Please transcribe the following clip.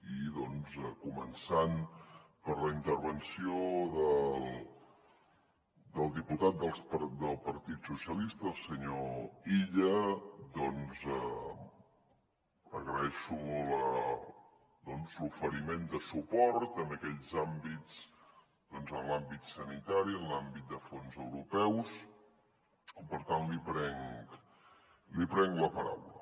i començant per la intervenció del diputat del partit dels socialistes el senyor illa doncs agraeixo l’oferiment de suport en aquells àmbits doncs en l’àmbit sanitari en l’àmbit de fons europeus i per tant li prenc la paraula